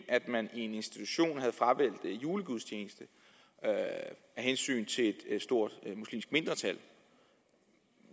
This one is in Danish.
at man i en institution havde fravalgt julegudstjenesten af hensyn til et stort muslimsk mindretal